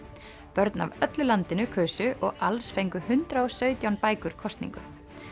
börn af öllu landinu kusu og alls fengu hundrað og sautján bækur kosningu